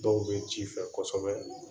Dɔw bɛ ji fɛ kosɛbɛ.